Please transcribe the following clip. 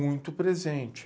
Muito presente.